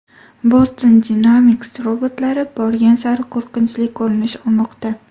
Boston Dynamics robotlari borgan sari qo‘rqinchli ko‘rinish olmoqda!